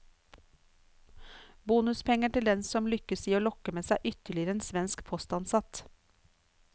Bonuspenger til den som lykkes i å lokke med seg ytterligere en svensk postansatt.